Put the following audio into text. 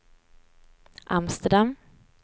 Amsterdam